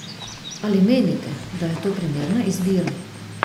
Ali menite, da je to primerna izbira?